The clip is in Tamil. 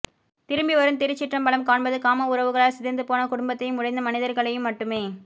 திரும்பிவரும் திருச்சிற்றம்பலம் காண்பது காம உறவுகளால் சிதைந்துப்போனக் குடும்பத்தையும் உடைந்த மனிதர்களையும் மட்டுமே